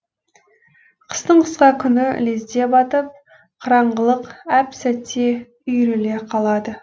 қыстың қысқа күні лезде батып қараңғылық әп сәтте үйіріле қалады